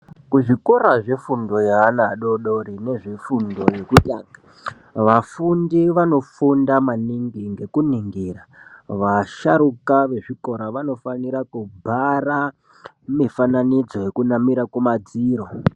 Kuzvikora zvefundo yeana adori-dori nezvevana vefundo yokutanga, vafundi vanofunda maningi ngekuningira vasharuka vezvikora vanofanira kubhara mifananidzo yekunamira kumadziro.